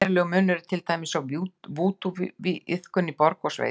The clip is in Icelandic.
Verulegur munur er til dæmis á vúdúiðkun í borg og í sveit.